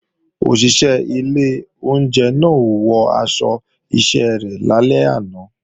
Òṣìṣẹ́ ilé oúnjẹ náà ò wọ aṣọ iṣẹ́ rẹ̀ lálẹ́ àná